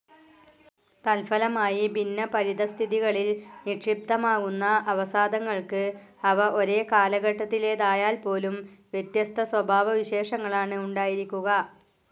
തത്ഫലമായി ഭിന്ന പരിതഃസ്ഥിതികളിൽ നിക്ഷിപ്തമാകുന്ന അവസാദങ്ങൾക്ക്, അവ ഒരേ കാലഘട്ടത്തിലേതായാൽപ്പോലും, വ്യത്യസ്ത സ്വഭാവവിശേഷങ്ങളാണ് ഉണ്ടായിരിക്കുക.